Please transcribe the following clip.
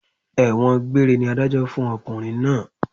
Ẹ̀wọ̀n gbéére ni Adájọ́ fún ọkùnrin náà